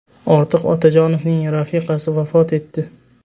Ortiq Otajonovning rafiqasi vafot etdi.